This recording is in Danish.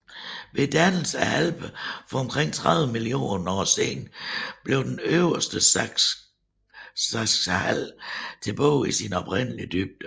Ved dannelsen af Alperne for omkring 30 mio år siden blev den øverste Salzachdal tilbage i sin oprindelige dybde